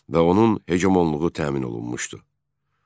Və onun heqemonluğu təmin olunmuşdu.